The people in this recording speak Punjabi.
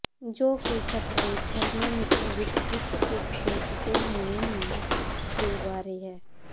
ਜੋ ਕਿ ਖ਼ਤਰੇ ਥਰਮਾਮੀਟਰ ਵਿਚ ਹਿੱਤ ਕੁਝ ਸੋਚਦੇ ਹੁਣੇ ਹੀ ਦੇ ਬਾਰੇ ਹੈ